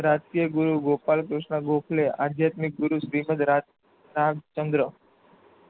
સર્ષ્ટ્રીય ગુરુ ગોપાલ કૃષ્ન ગોખલે આધ્યાત્મિક ગુરુ શ્રીમન્તં રાજ રાજ ચંદ્ર